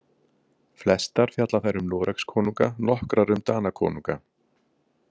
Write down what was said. Flestar fjalla þær um Noregskonunga, nokkrar um Danakonunga.